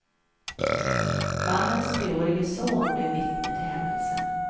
Mannens treårige son blev vittne till händelsen.